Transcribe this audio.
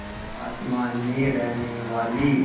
आसमान में रहने वाली